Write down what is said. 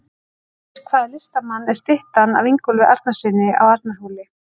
Eftir hvaða listamann er styttan af Ingólfi Arnarsyni á Arnarhóli?